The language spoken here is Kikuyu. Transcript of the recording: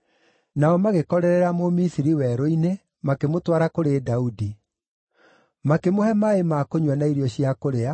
Nao magĩkorerera Mũmisiri werũ-inĩ, makĩmũtwara kũrĩ Daudi. Makĩmũhe maaĩ ma kũnyua na irio cia kũrĩa,